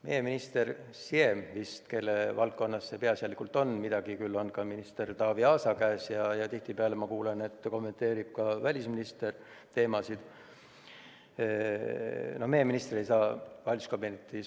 Meie minister, Siem vist, kelle valdkonnas peaasjalikult on – midagi on ka minister Taavi Aasa käes ja tihtipeale ma kuulen, et ka välisminister kommenteerib neid teemasid –, ei saa valitsuskabinetist.